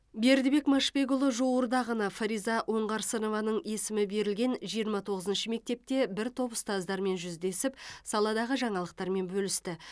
бердібек машбекұлы жуырда ғана фариза оңғарсынованың есімі берілген жиырма тоғызыншы мектепте бір топ ұстаздармен жүздесіп саладағы жаңалықтармен бөлісті